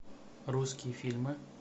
русские фильмы